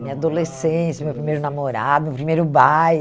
Minha adolescência, meu primeiro namorado, meu primeiro